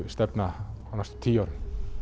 stefna á næstum tíu árum